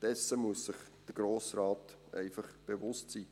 Dessen muss sich der Grosse Rat einfach bewusst sein.